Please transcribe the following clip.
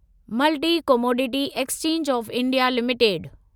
multi commodity exchange of India limited